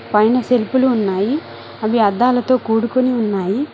పైన సెల్ఫులు ఉన్నాయి అవి అద్దాలతో కూడుకుని ఉన్నాయి.